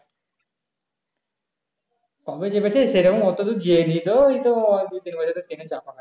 কবে চেপেছি সেরকম এতদূর যাই নি ওই তো দুই দিন বছর train চাপা হয় নি